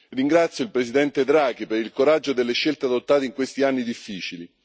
Ringrazio il Presidente Draghi per il coraggio delle scelte adottate in questi anni difficili.